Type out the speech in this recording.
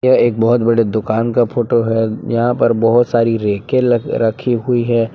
यह एक बहुत बड़े दुकान का फोटो है यहां पर बहुत सारी रैके ल रखी हुई है।